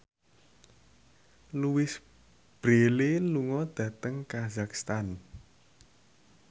Louise Brealey lunga dhateng kazakhstan